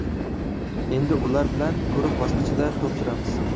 Endi ular bilan guruh bosqichida to‘p suramiz.